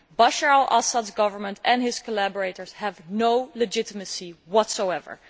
Bashar al Assad's government and his collaborators have no legitimacy whatsoever.